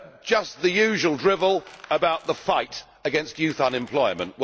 Just the usual drivel about the fight against youth unemployment.